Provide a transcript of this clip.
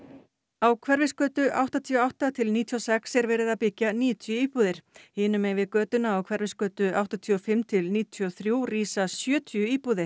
á Hverfisgötu áttatíu og átta til níutíu og sex er verið að byggja níutíu íbúðir hinum megin við götuna á Hverfisgötu áttatíu og fimm til níutíu og þrjú rísa sjötíu íbúðir